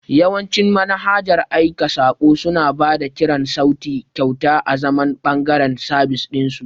Yawancin manhajar aika saƙo suna ba da kiran sauti kyauta azaman ɓangaren sabis ɗin su.